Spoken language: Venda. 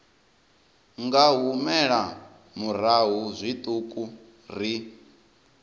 nga humela murahu zwiṱuku ri